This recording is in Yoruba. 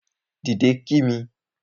Dìde kí mi